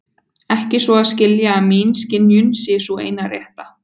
Ekki svo að skilja að mín skynjun sé sú eina rétta.